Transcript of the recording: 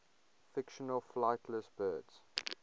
fictional flightless birds